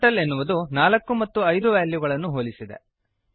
turtle ಎನ್ನುವುದು 4 ಮತ್ತು 5 ವೆಲ್ಯೂಗಳನ್ನು ಹೋಲಿಸಿದೆ